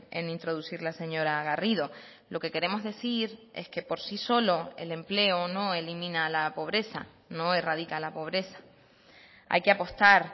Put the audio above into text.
en introducir la señora garrido lo que queremos decir es que por sí solo el empleo no elimina la pobreza no erradica la pobreza hay que apostar